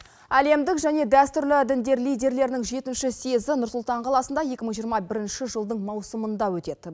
әлемдік және дәстүрлі діндер лидерлерінің жетінші съезі нұр сұлтан қаласында екі мың жиырма бірінші жылдың маусымында өтеді